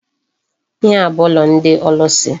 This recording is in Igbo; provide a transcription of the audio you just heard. Ihe a bu ụlọ ndị ọlụsị.